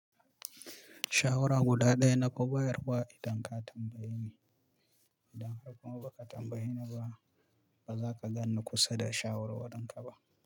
Shawara guda ɗaya naka bayarwa idan ka tambaye ni. Idan har kuma ba ka tambaye ni ba, ba za ka ganni kusa da shawar warin ka ba.